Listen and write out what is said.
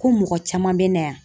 Ko mɔgɔ caman bɛ na yan